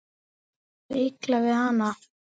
Er þér illa við hana?